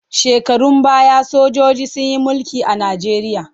Shekarun baya sojiji sun yi mulki a Najeriya.